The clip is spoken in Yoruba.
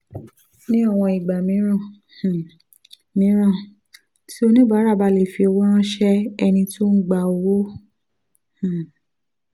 ní àwọn ìgbà um mìíràn um mìíràn tí oníbàárà bá lè fi owó ránṣẹ́ ẹni tó ń gba owó um